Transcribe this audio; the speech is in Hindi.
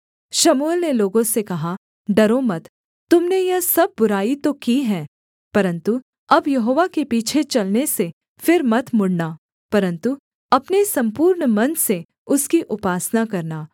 शमूएल ने लोगों से कहा डरो मत तुम ने यह सब बुराई तो की है परन्तु अब यहोवा के पीछे चलने से फिर मत मुड़ना परन्तु अपने सम्पूर्ण मन से उसकी उपासना करना